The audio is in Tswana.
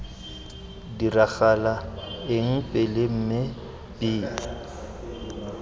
diragala eng pele mme b